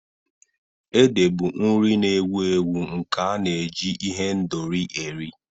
Ede bụ nri na-ewu ewu nke a na-eji ihendori eri.